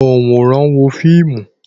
Ònwòran wo fíìmù